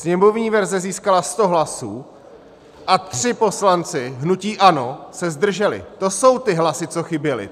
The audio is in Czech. Sněmovní verze získala 100 hlasů a tři poslanci hnutí ANO se zdrželi, to jsou ty hlasy, co chyběly.